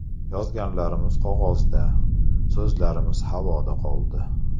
Yozganlarimiz qog‘ozda, so‘zlarimiz havoda qoldi.